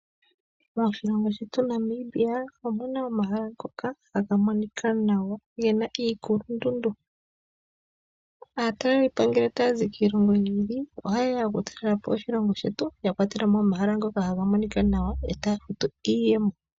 Moshilongo shetu Namibia omuna omahala ngoka haga monika nawa gena iikulundundu. Aatalelipo ngele taya zi kiilongo yi ili ohayeya okutalelapo oshilongo shetu yakwatela mo omahala ngoka gaga monika nawa etaya futu iiyemo.